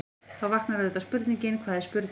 Þá vaknar auðvitað spurningin: hvað er spurning?.